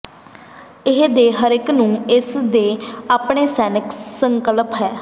ਇਹ ਦੇ ਹਰੇਕ ਨੂੰ ਇਸ ਦੇ ਆਪਣੇ ਸਨੈਕ ਸੰਕਲਪ ਹੈ